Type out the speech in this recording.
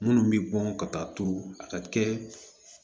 Minnu bɛ bɔn ka taa turu a ka kɛ